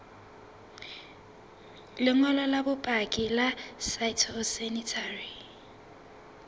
lengolo la bopaki la phytosanitary